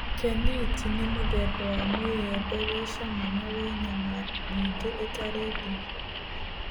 Keniti nĩ mũthemba wa mũĩembe wĩ cama na wĩ nyama nyingĩ itarĩ ndigi